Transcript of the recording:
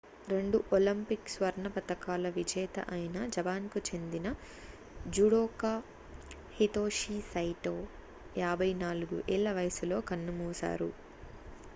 రెండు ఒలింపిక్ స్వర్ణ పతకాల విజేత అయిన జపాన్ కు చెందిన జుడోకా హితోషి సైటో 54 ఏళ్ల వయసులో కన్నుమూశారు